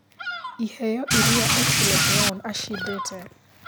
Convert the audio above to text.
ĩheo ĩrĩa otile brown acĩndĩte